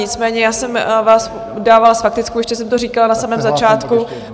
Nicméně já jsem vás dávala s faktickou, ještě jsem to říkala na samém začátku.